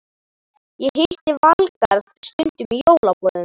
Ég hitti Valgarð stundum í jólaboðum.